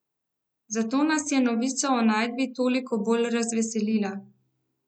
Zato nas je novica o najdbi toliko bolj razveselila.